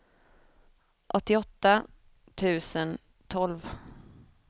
åttioåtta tusen tolv